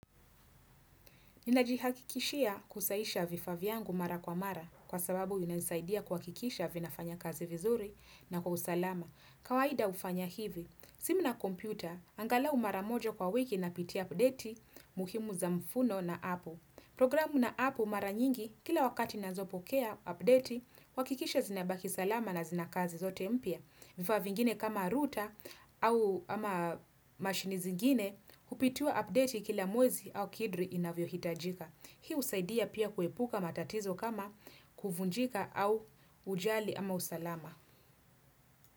Ninajihakikishia kusaisha vifaa vyangu mara kwa mara kwa sababu zinanisaidia kuhakikisha vinafanya kazi vizuri na kwa usalama. Kawaida hufanya hivi. Simu na kompyuta, angalau mara moja kwa wiki napitia updeti muhimu za mfuno na apu. Programu na apu mara nyingi, kila wakati nazopokea updeti, huakikisha zinabaki salama na zina kazi zote mpya. Vifaa vingine kama router au ama mashini zingine hupitiwa updeti kila mwezi au kidri inavyohitajika. Hii husaidia pia kuepuka matatizo kama kuvunjika au hujali ama usalama.